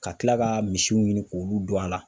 Ka Kila ka misiw ɲini k'olu don a la.